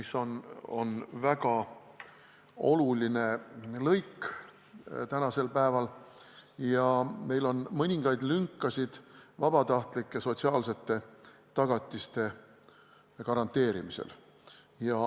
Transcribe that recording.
See on väga oluline lõik ja meil on praegu mõningaid lünkasid vabatahtlike sotsiaalsete tagatiste garanteerimisel.